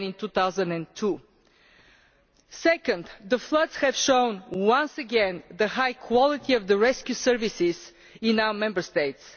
than in 2002. Secondly, the floods have shown once again the high quality of the rescue services in our Member States.